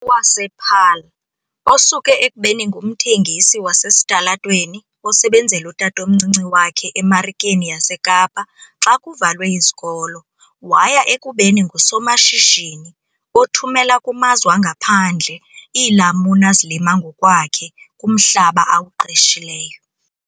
wasePaarl, osuke ekubeni ngumthengisi wasesitalatweni osebenzela utatomncinci wakhe eMarikeni yaseKapa xa kuvalwe izikolo waya ekubeni ngusomashishini othumela kumazwe angaphandle iilamuni azilima ngokwakhe kumhlaba awuqeshileyo.